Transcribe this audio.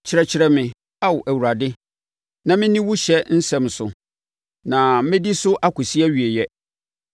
Kyerɛkyerɛ me, Ao Awurade, na menni wo ɔhyɛ nsɛm so, na mɛdi so akɔsi awieeɛ.